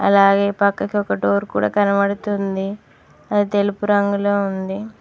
అలాగే పక్కకి ఒక డోర్ కూడా కనబడుతుంది అది తెలుపు రంగులో ఉంది.